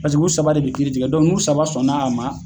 Paseke u saba de be kiiri tigɛ dɔnke n'u saba sɔnna a ma